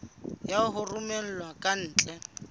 ya tse romellwang ka ntle